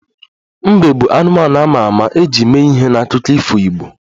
Mbe bụ anụmanụ a ma ama e ji mee ihe n'akụkọ ifo igbo